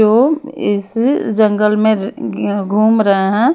जो इस जंगल में ज ग्य घूम रहे है।